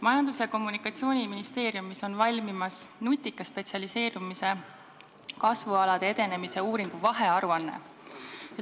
Majandus- ja Kommunikatsiooniministeeriumis on valmimas nutika spetsialiseerumise kasvualade edenemise uuringu vahearuanne.